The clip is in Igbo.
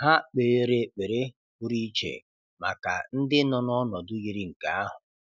Ha kpeere ekpere pụrụ iche maka ndị nọ n’ọnọdụ yiri nke ahụ.